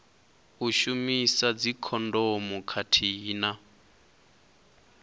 u shumisa dzikhondomu khathihi na